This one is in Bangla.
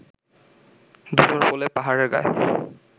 ধূসর প্রলেপ পাহাড়ের গায়